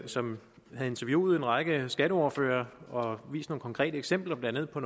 som havde interviewet en række skatteordførere og vist nogle konkrete eksempler blandt andet på